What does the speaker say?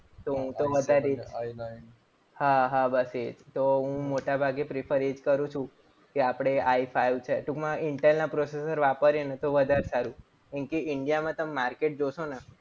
હા બસ એ જ તો હું મોટાભાગે prefer એ જ કરું છું. કે આપણે i five છે. ટૂંકમાં intel ના processor વાપરીએ તો વધારે સારું. કેમ કે india માં તમે માર્કેટ જોશો ને